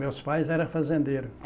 Meus pais eram fazendeiros.